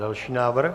Další návrh.